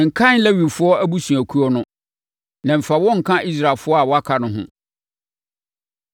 “Nkan Lewifoɔ abusuakuo no, na mfa wɔn nka Israelfoɔ a wɔaka no ho.